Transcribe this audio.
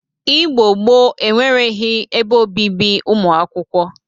Igbo gboo enweregi ebe obibi ụmụ akwụkwọ